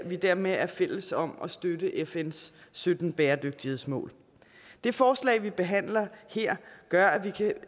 vi dermed er fælles om at støtte fns sytten bæredygtighedsmål det forslag vi behandler her gør at vi kan